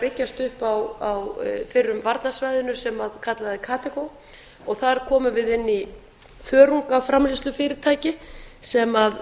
byggjast upp á fyrrum varnarsvæðinu sem kallað er og þar komum við inn í þörungaframleiðslufyrirtæki sem